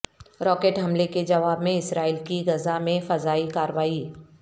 rocket حملے کے جواب میں اسرائیل کی غزہ میں فضائی کارروائی